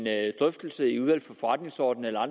drøftelse i udvalget for forretningsordenen eller